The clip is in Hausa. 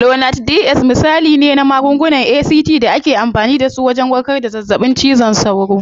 Lonart DS misali ne na magungunan ACT da ake amfani dasu wajen warkar da zazzaɓin cizon sauro.